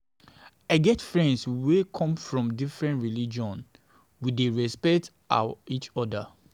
I get friends wey come from different religion, we dey respect we dey respect each oda.